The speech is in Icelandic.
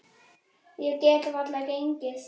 Ég get varla gengið.